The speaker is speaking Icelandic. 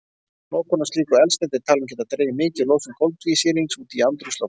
Notkun á slíku eldsneyti er talin geta dregið mikið úr losun koltvísýrings út í andrúmsloftið.